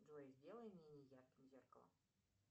джой сделай менее ярким зеркало